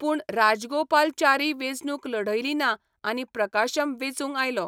पूण राजगोपालचारी वेंचणूक लढयली ना आनी प्रकाशम वेंचून आयलो.